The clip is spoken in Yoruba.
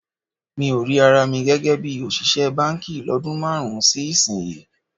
Mi ò rí ara mi gẹ́gẹ́ bí òṣìṣẹ́ báǹkì lọ́dún márùn-ún sí ìsinyìí